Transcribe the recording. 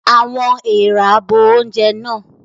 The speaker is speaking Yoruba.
Àwọn èèrà bo oúnjẹ náà.